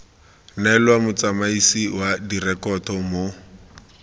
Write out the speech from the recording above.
neelwa motsamaisi wa direkoto mo